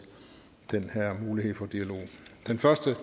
den her mulighed for dialog det første er